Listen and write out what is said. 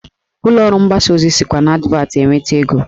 Ụlọọrụ mgbasa ozi sikwa n'advatị enweta ego